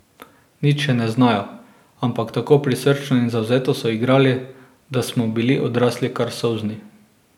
Nič še ne znajo, ampak tako prisrčno in zavzeto so igrali, da smo bili odrasli kar solzni.